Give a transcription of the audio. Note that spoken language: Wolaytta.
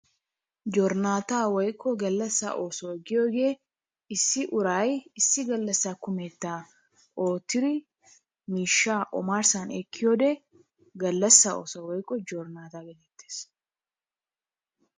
Jornaataa woyikko gallassan oosuwa giyogee issi uray issi gallassa kumettaa oottidi miishshaa omarssan ekkiyode gallassa ooso woykko jornaataa geetettes.